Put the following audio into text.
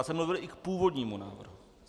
Já jsem mluvil i k původnímu návrhu.